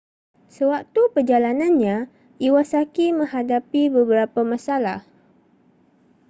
sewaktu perjalanannya iwasaki menghadapi beberapa masalah